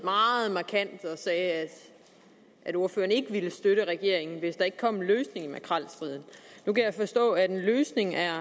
markant og sagde at ordføreren ikke ville støtte regeringen hvis der ikke kom en løsning på makrelstriden nu kan jeg forstå at den løsning at